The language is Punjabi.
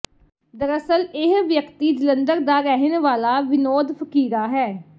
ਦਰਅਸਲ ਇਹ ਵਿਅਕਤੀ ਜਲੰਧਰ ਦਾ ਰਹਿਣ ਵਾਲਾ ਵਿਨੋਦ ਫਕੀਰਾ ਹੈ